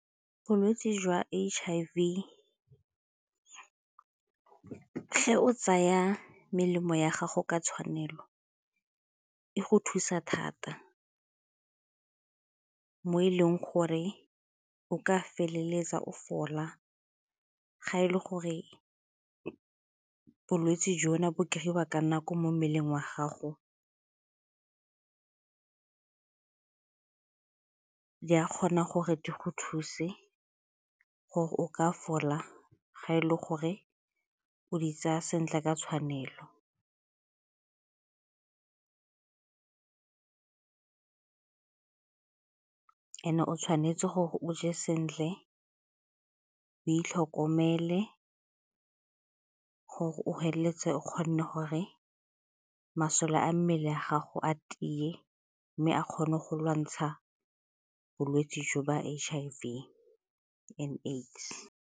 Bolwetse jwa H_I_V, ge o tsaya melemo ya gago ka tshwanelo e go thusa thata mo e leng gore o ka feleletsa o fola, ga e le gore bolwetsi jona bo kry-iwa ka nako mo mmeleng wa gago di a kgona gore di go thuse gore o ka fola ga e le gore o di tsaya sentle ka tshwanelo. And-e tshwanetse gore o je sentle, o itlhokomele gore o feleletse o kgone gore masole a mmele a gago a tie mme a kgone go lwantsha bolwetse jo ba H_I_V and AIDS.